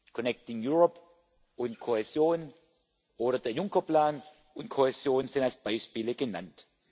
Connecting Europe und Kohäsion oder der Juncker Plan und Kohäsion sind als Beispiele genannt.